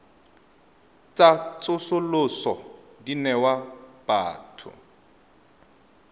tsa tsosoloso di newa batho